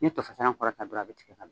N'i ye to fasalan kɔrɔta dɔrɔn a bɛ tigɛ